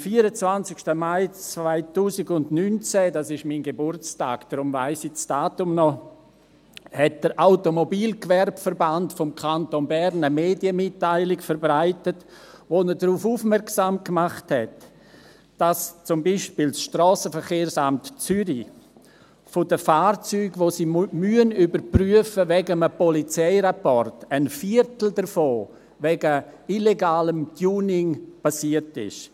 Am 24. Mai 2019, das ist mein Geburtstag, deshalb kenne ich das Datum, hat der Automobilgewerbeverband des Kantons Bern eine Medienmitteilung verbreitet, in der er darauf aufmerksam gemacht hat, dass zum Beispiel das Strassenverkehrsamt Zürich bei einem Viertel der Fahrzeuge, die es wegen einem Polizeirapport überprüfen muss, der Grund illegales Tuning ist.